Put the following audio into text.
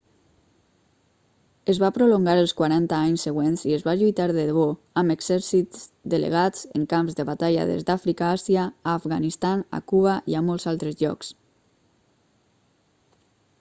es va prolongar els quaranta anys següents i es va lluitar de debò amb exèrcits delegats en camps de batalla des d'àfrica a àsia a afganistan a cuba i a molts altres llocs